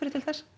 til þessa